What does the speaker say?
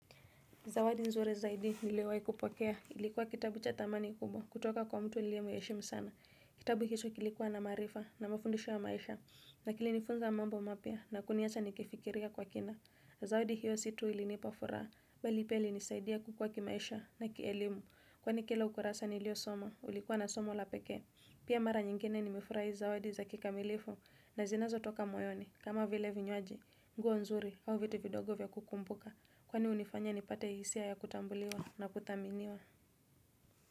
Zawadi nzuri zaidi niliwahi kupokea. Ilikuwa kitabu cha dhamani kubwa. Kutoka kwa mtu niliyemheshimu sana. Kitabu hicho kilikuwa na maarifa na mafundisho ya maisha. Na kilinifunza mambo mapya na kuniacha nikifikiria kwa kina. Zawadi hiyo si tu ilinipa furaha. Bali pia ilinisaidia kukua kimaisha na kielimu. Kwani kila ukurasa niliosoma ulikuwa na somo la pekee. Pia mara nyingine nimefurahi zawadi za kikamilifu na zinazotoka moyoni. Kama vile vinywaji, nguo nzuri au vitu vidogo vya kukumbuka Kwani hunifanya nipate hisia ya kutambuliwa na kuthaminiwa.